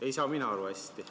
Ei saa mina aru hästi.